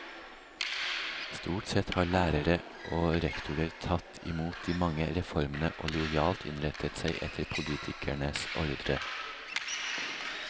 Stort sett har lærere og rektorer tatt i mot de mange reformene og lojalt innrettet seg etter politikernes ordre.